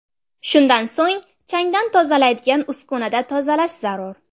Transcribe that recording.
Shundan so‘ng changdan tozalaydigan uskunada tozalash zarur.